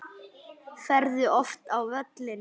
Ferðu oft á völlinn?